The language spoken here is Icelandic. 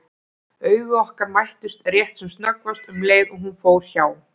Augu okkar mættust rétt sem snöggvast um leið og hún fór hjá.